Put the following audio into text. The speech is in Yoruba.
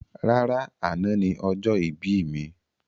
Rárá, àna ni ọjọ́ ìbí mi.